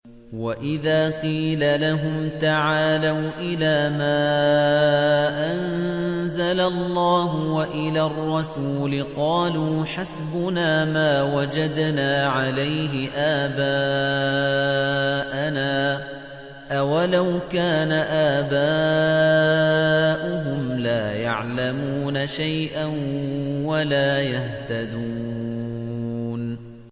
وَإِذَا قِيلَ لَهُمْ تَعَالَوْا إِلَىٰ مَا أَنزَلَ اللَّهُ وَإِلَى الرَّسُولِ قَالُوا حَسْبُنَا مَا وَجَدْنَا عَلَيْهِ آبَاءَنَا ۚ أَوَلَوْ كَانَ آبَاؤُهُمْ لَا يَعْلَمُونَ شَيْئًا وَلَا يَهْتَدُونَ